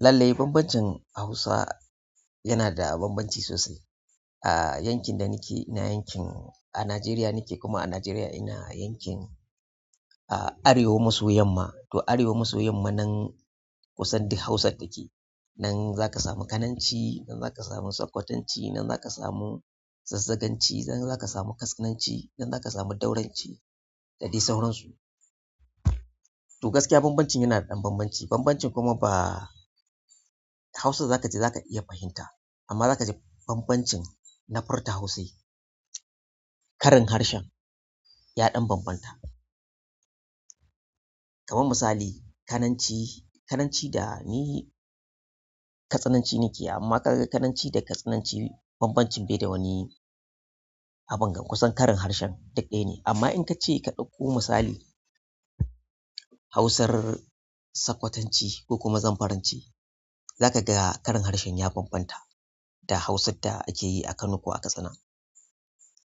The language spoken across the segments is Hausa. Lallai bambancin Hausa yana da bambanci sosai. A yankin da nike ina yankin a Najeriya nike kuma a Najeriya ina yankin Arewa maso yamma. To Arewa maso yamma nan kusan duk Hausar take. Nan zaka samu kananci nan zaka samu sakkwatanci nan zaka samu zazzaganci nan zaka samu katsinanci nan zaka samu dauranci da dai sauran su toh gaskiya bambancin yana da ɗan bambanci bambancin kuma ba Hausar za ka ji za ka iya fahimta amma za ka ji bambancin na furta Hausar. Ƙarin harshen ya ɗan bambanta. Kaman misali Kananci, Kananci da ni Katsinanci nike amma ka ga Kananci da Katsinanci bambancin bai da wani abun ga kusan karin harshen duk ɗaya ne. Amma in ka ce ka ɗakko misali Hausar Sakkwatanci ko kuma Zamfaranci za ka ga karin harshen ya bambanta da Hausar da ake yi a Kano ko a Katsina.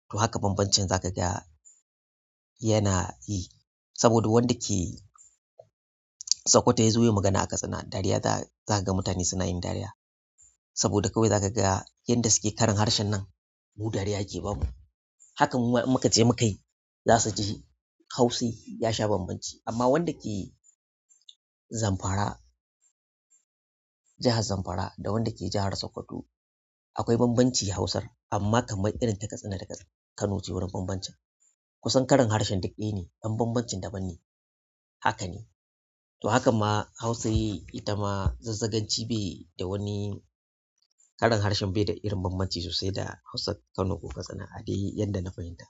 To haka bambancin za ka ga yana yi saboda wanda ke Sokoto ya zo ya yi magana a Katsina, dariya za ka ga mutane suna yin dariya saboda kawai za ka ga yanda suke karin harshen nan mu dariya yake bamu. Hakan muma in mukaje mukayi za su ji Hausar ya sha bambanci. Amma wanda ke Zamfara, jahar Zamfara da wanda ke jahar Sokoto akwai bambanci Hausar amma kamar irin ta Katsina da Kano ce wurin bambancin. Kusan karin harshen duk ɗaya ne ɗan bambancin daban ne. Haka ne. To hakan ma Hausa yi ita ma Zazzaganci bai da wani karin harshen bai da irin bambanci sosai da hausar Kano ko Katsina a dai yadda na fahimta.